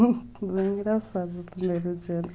Foi engraçado o primeiro dia, né?